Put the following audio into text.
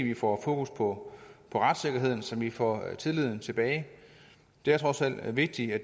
vi får fokus på retssikkerheden så vi får tilliden tilbage det er trods alt vigtigt at